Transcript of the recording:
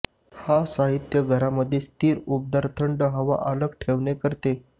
हा साहित्य घरामध्ये स्थित उबदार थंड हवा अलग ठेवणे करते